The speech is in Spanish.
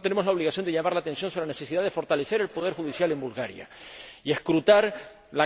Y, por tanto, tenemos la obligación de llamar la atención sobre la necesidad de fortalecer el poder judicial en Bulgaria y escrutar la